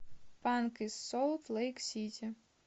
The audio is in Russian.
панк из солт лейк сити